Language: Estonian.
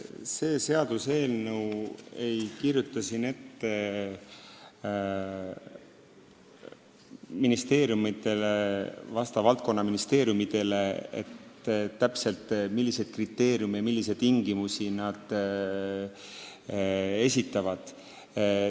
See seaduseelnõu ei kirjuta valdkonnaministeeriumidele täpselt ette, milliseid kriteeriume ja tingimusi nad esitama peavad.